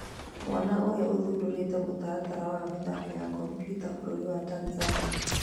Mwana ũrĩa ũthundĩrĩte mũtaratara wa mĩthako ya kompyuta bũrũri wa Tanzania